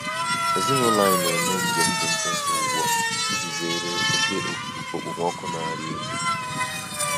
Ezinụlọ anyị na-eme njem dị mkpụmkpụ ugbu a iji zere oke okpomọkụ na-arị elu.